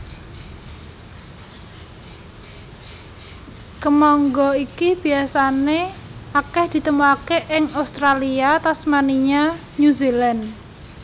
Kemangga iki biasané akèh ditemokaké ing Australia Tasmania New Zealand